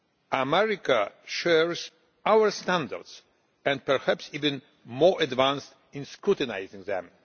America shares our standards and perhaps is even more advanced in scrutinising them.